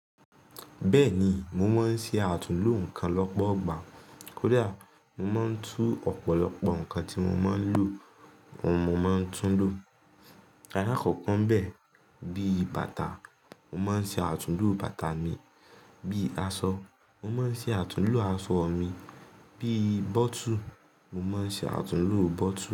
Bẹ́ẹ̀ni, mo máa ń ṣe àtúnlo nnkan lọ́pọ̀ igbà. Kódà mo máa ń tún ọ̀pọ̀lọpọ̀ nǹkan tí mo máa ń lò oun mo máa tún lò. Ala kọkọ ń bẹ̀, bí i bàtà, mo máa ń ṣe àtúnlo bàtà mi, bí i aṣọ, mo máa ń ṣe àtúnlo aṣọ mi, bí i bottle, mo máa ń ṣe àtúnlo bottle mi.